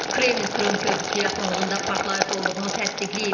Kreml Krım körpüsü yaxınlığında partlayış olduğunu təsdiqləyib.